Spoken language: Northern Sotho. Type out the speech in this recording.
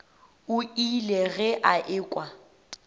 o ile ge a ekwa